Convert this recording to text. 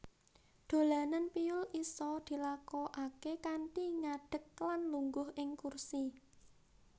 Dolanan piyul isa dilakokake kanthi ngadek lan lungguh ing kursi